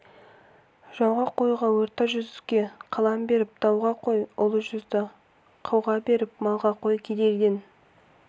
жауға қой орта жүзді қалам беріп дауға қой ұлы жүзді қауға беріп малға қой керейден